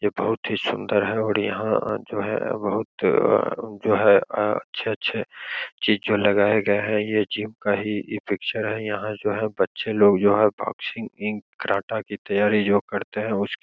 ये बहुत ही सुंदर है और यहाँ जो है बहुत जो है अच्छे-अच्छे चीज़ जो लगाए गए हैं | ये जिम का ही पिक्चर है| यहाँ जो है बच्चे लोग जो है बोक्सींग इन कराटा की तयारी जो करते है उसकी --